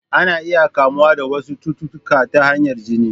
Ana iya kamuwa da wasu cututtuka ta hanyar jini.